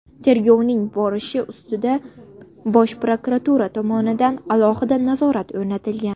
Tergovning borishi ustidan Bosh prokuratura tomonidan alohida nazorat o‘rnatilgan.